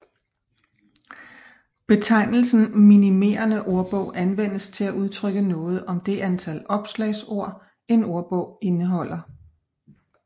Betegnelsen minimerende ordbog anvendes til at udtrykke noget om det antal opslagsord en ordbog indeholder